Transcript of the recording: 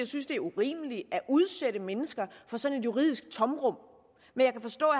synes det er urimeligt at udsætte mennesker for sådan et juridisk tomrum men jeg kan forstå